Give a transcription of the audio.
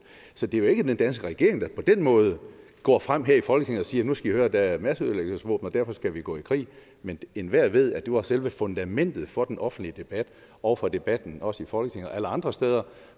så det er jo ikke den danske regering der på den måde går frem her i folketinget og siger nu skal i høre der er masseødelæggelsesvåben og derfor skal vi gå i krig men enhver ved at det var selve fundamentet for den offentlige debat og for debatten også i folketinget og alle andre steder